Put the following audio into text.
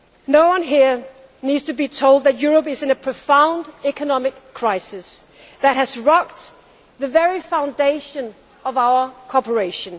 No one here needs to be told that Europe is in a profound economic crisis that has rocked the very foundation of our cooperation.